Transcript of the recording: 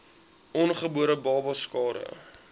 ongebore babas skade